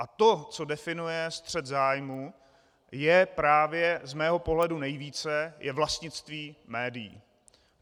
A to, co definuje střet zájmů, a právě z mého pohledu nejvíce, je vlastnictví médií.